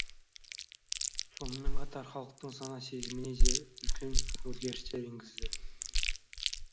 сонымен қатар халықтың сана сезіміне де үлкен өзгерістер енгізді